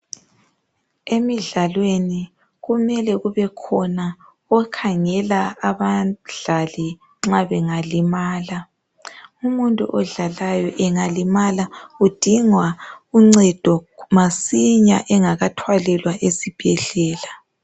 Emidlalweni kumele kubekhona okhangela abadlali nxa bengalimala .Umuntu odlalayo engalimala udinga uncedo masinya engakathwalelwa esibhedlela.